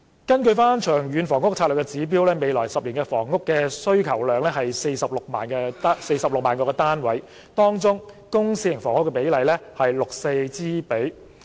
根據《長遠房屋策略》指標，未來10年的房屋需求量是46萬個單位，當中公私營房屋的比例為 6：4。